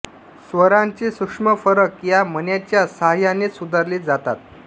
स्वरांचे सूक्ष्म फरक या मण्यांच्या साहाय्यानेच सुधारले जातात